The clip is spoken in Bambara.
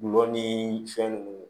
Gulɔ ni fɛn ninnu